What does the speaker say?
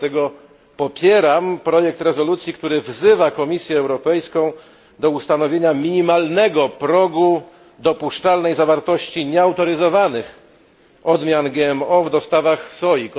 Dlatego popieram projekt rezolucji, który wzywa Komisję Europejską do ustanowienia minimalnego progu dopuszczalnej zawartości nieautoryzowanych odmian GMO w dostawach soi.